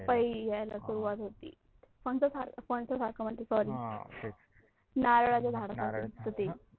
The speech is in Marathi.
पपई यायला सुरुवात होती, कोणाच्या सारख सोर्री नारळाच्या झाडसारखा पपई यायला सुरुवात होती.